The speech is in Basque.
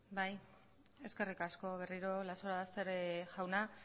bai eskerrik asko berriro lazarobaster jauna